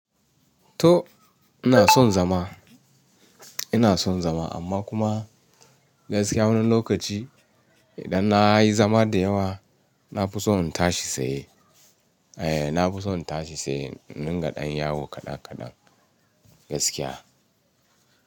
To ina son zama, ina son zama amma kuma gaskiya wani lokaci idan na yi zama da yawa na fi son in tashi sai. Eh na fi son in tashi tsaye na dinga ɗan yawo kaɗan kaɗan gaskiya.